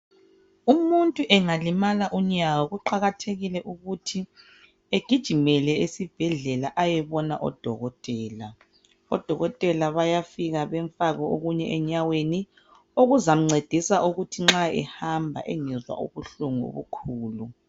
Umuntu engalimala unyawo kuqakathekile ukuthi egijimele esibhedlela ayebona odokotela. Odokotela bayafika bemfake okunye enyaweni okuzamncedisa ukuthi nxa ehamba engezwa ubuhlungu obukhulu.